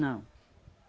Não.